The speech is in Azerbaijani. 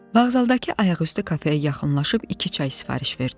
Vağzaldakı ayaqüstü kafeyə yaxınlaşıb iki çay sifariş verdim.